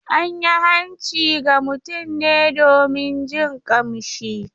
An yi hanci ga mutum ne domin jin kamshi.